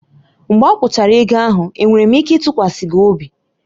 Mgbe akwụchara ego ahụ, enwere m ike ịtụkwasị gị obi?